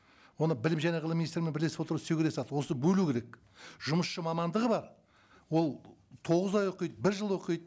оны білім және ғылым министрімен бірлесіп отырып істеу керек зат осыны бөлу керек жұмысшы мамандығы бар ол тоғыз ай оқиды бір жыл оқиды